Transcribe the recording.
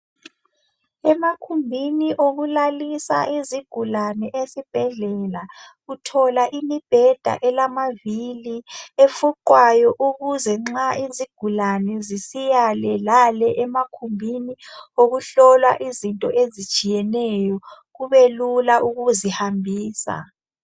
Emakhumbini okulalisa izigulane esibhedlela uthola imibheda elamavili, efuqwayo ukuze nxa izigulane zisiya le lale emakhumbini okuhlolwa izinto ezitshiyeneyo kubelula ukuzihambisa.